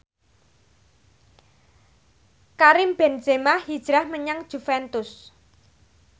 Karim Benzema hijrah menyang Juventus